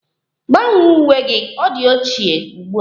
Gbanwee uwe gị! Ọ di ochie ugbua